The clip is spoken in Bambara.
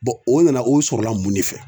o nana o sɔrɔla mun de fɛ?